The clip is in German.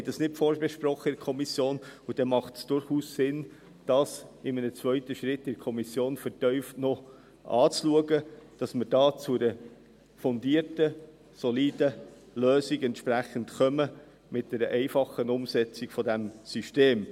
Wir haben das in der Kommission nicht vorbesprochen, und es macht dann durchaus Sinn, das in einem zweiten Schritt in der Kommission noch vertieft anzuschauen, damit wir zu einer fundierten, soliden Lösung kommen, mit einer einfachen Umsetzung dieses Systems.